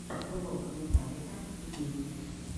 влог металлика ти ви